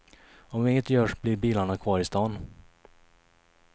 Om inget görs blir bilarna kvar i stan.